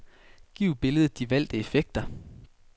Giv billedet de valgte effekter.